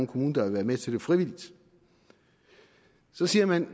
kommune der vil være med til det frivilligt så siger man